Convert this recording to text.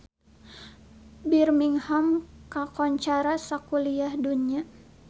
Birmingham kakoncara sakuliah dunya